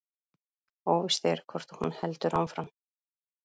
Óvíst er hvort hún heldur áfram